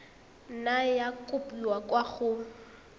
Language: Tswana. nna ya kopiwa kwa go